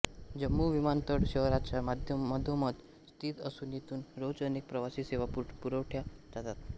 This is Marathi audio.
जम्मू विमानतळ शहराच्या मधोमध स्थित असून येथून रोज अनेक प्रवासी सेवा पुरवल्या जातात